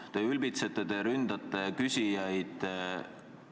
Te ülbitsete, te ründate küsijaid.